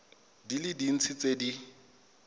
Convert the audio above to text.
di le dintsi tse di